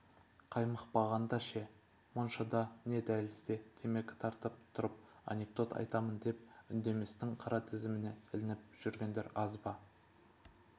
қаймықпағанда ше моншада не дәлізде темекі тартып тұрып анекдот айтамын деп үндеместің қара тізіміне ілініп жүргендер аз ба